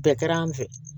Bɛɛ kɛra an fɛ